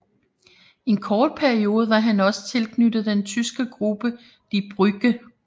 En kort periode var han også tilknyttet den tyske gruppe Die Brücke